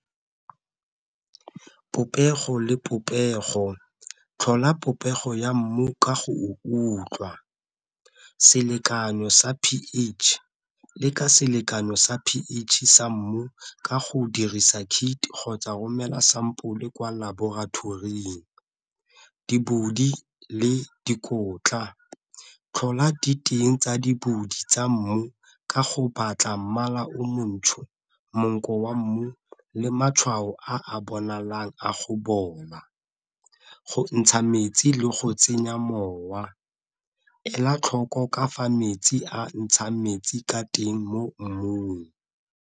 Popego le popego, tlhola popego ya mmu ka go o utlwa, selekano sa P_H le ka selekano sa P_H sa mmu ka go dirisa kit kgotsa romela sampole kwa laboratoring. le dikotla tlhola diteng tsa tsa mmu ka go batla mmala o montsho, monko wa mmu, le matshwao a bonalang wa go bola, go ntsha metsi le go tsenya mowa, ela tlhoko ka fa metsi a ntsha metsi ka teng mo mmung.